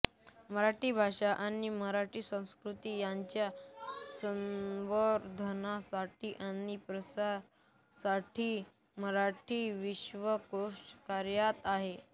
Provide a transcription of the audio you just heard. मराठी भाषा आणि मराठी संस्कृती यांच्या संवर्धनासाठी आणि प्रसारासाठी मराठी विश्वकोश कार्यरत आहे